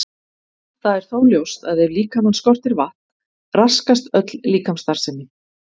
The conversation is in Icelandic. Það er þó ljóst að ef líkamann skortir vatn raskast öll líkamsstarfsemi.